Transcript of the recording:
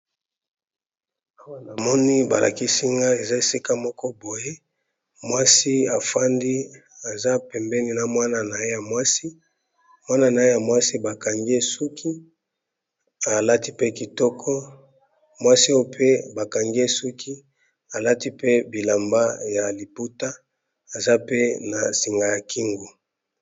Awa namoni balakisinga eza esika moko boye mwasi afandi aza pembeni na mwana na ye ya mwasi mwana na ye ya mwasi bakangi ye suki alati mpe kitoko mwasi oyo pe bakangi ye suki alati pe bilamba ya liputa aza pe na singa ya kingo.